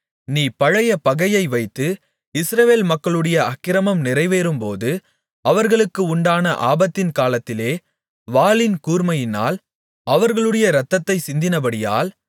நீ பழைய பகையை வைத்து இஸ்ரவேல் மக்களுடைய அக்கிரமம் நிறைவேறும்போது அவர்களுக்கு உண்டான ஆபத்தின் காலத்திலே வாளின் கூர்மையினால் அவர்களுடைய இரத்தத்தைச் சிந்தினபடியால்